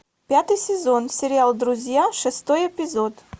пятый сезон сериал друзья шестой эпизод